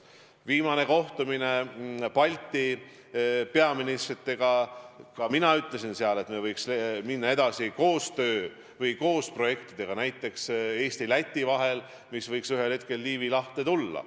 Viimasel kohtumisel teiste Balti peaministritega ma ütlesin, et me võiks minna edasi näiteks Eesti-Läti koostööprojektidega, mis võiks ühel hetkel Liivi lahes käivitada.